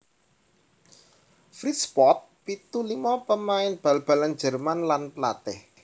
Fritz Pott pitu limo pamain bal balan Jerman lan palatih